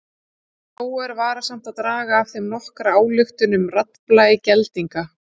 Þó er varasamt að draga af þeim nokkra ályktun um raddblæ geldinga.